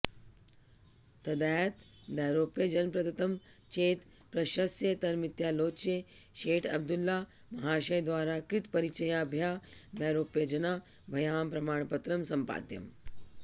तदेतदैरोप्यजनप्रदत्तं चेत् प्रशस्यतरमित्यालोच्य शेठअबदुल्ला महाशयद्वारा कृतपरिचयाभ्यामैरोप्यजनाभ्यां प्रमाणपत्रं समपादयम्